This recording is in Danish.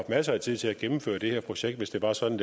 masser af tid til at gennemføre det her projekt hvis det var sådan